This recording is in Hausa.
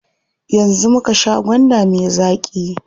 Yanzu muka sha gwanda me zaƙi.